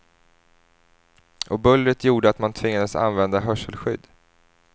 Och bullret gjorde att man tvingades använda hörselskydd.